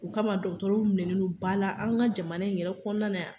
O kama dɔgɔtɔrɔw minɛnen no ba la an ka jamana in yɛrɛ kɔnɔna la yan